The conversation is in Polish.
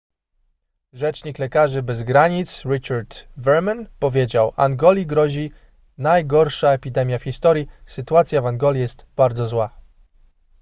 rzecznik lekarzy bez granic richard veerman powiedział angoli grozi najgorsza epidemia w historii sytuacja w angoli jest bardzo zła